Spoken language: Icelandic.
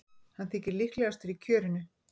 Hann þykir líklegastur í kjörinu.